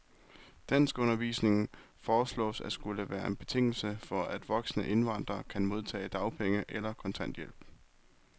Danskundervisning foreslås at skulle være en betingelse for, at voksne indvandrere kan modtage dagpenge eller kontanthjælp.